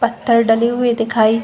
पत्थर डले हुए दिखाई --